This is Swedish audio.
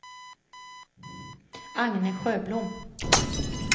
Agne Sjöblom